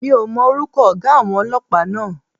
Mi ò mọ orúkọ ọ̀gá àwọn Ọlọ́pàá náà.